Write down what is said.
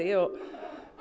og